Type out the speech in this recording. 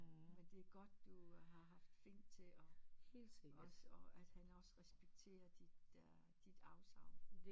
Men det er godt du har haft Finn til og også og han også respekterer de der dit afsagn